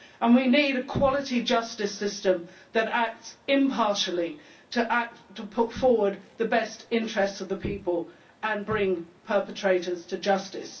We need a high quality justice system that acts impartially to put forward the best interests of the people and bring perpetrators to justice.